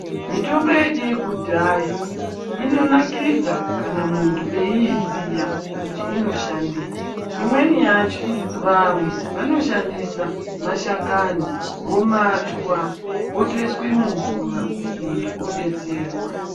Mitombo yedu yekudhaya inonakidza kana muntu eiiziya kuti inoshandei, imweni yacho vamwe vanoshandisa mashakani vomatwa otoiswe mumvura muntu odetserwa.